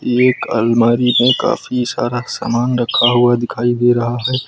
एक अलमारी है काफी सारा सामान रखा हुआ दिखाई दे रहा है।